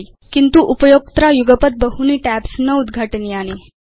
किन्तु उपयोक्त्रा युगपत् बहूनि टैब्स् न उद्घाटनीयानि